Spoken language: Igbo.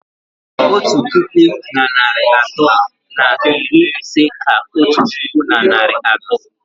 Otu puku na narị atọ na iri ise ka otu puku na narị atọ